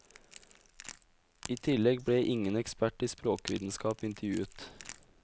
I tillegg ble ingen ekspert i språkvitenskap intervjuet.